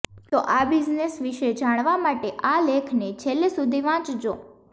તો આ બિઝનેસ વિષે જાણવા માટે આ લેખને છેલ્લે સુધી વાંચજો